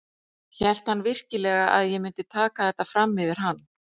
Hélt hann virkilega að ég myndi taka þetta fram yfir hann?